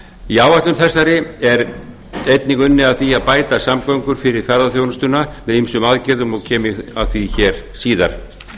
í áætlun þessari er einnig unnið að því að bæta samgöngur fyrir ferðaþjónustuna með ýmsum aðgerðum og kem ég að því síðar